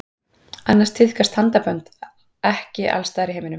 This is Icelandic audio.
annars tíðkast handabönd ekki alls staðar í heiminum